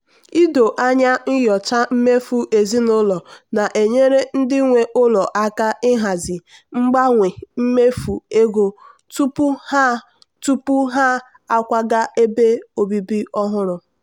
ido anya nyochaa mmefu ezinụlọ na-enyere ndị nwe ụlọ aka ịhazi mgbanwe mmefu ego tupu ha tupu ha akwaga ebe obibi ọhụrụ.